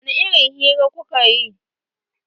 Wani irin hira kuka yi?